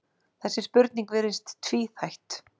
þessi spurning virðist tvíþætt